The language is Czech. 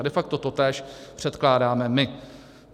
A de facto totéž předkládáme my.